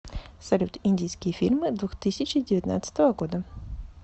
салют индийские фильмы двух тысяча девятнадцатого года